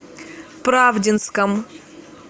правдинском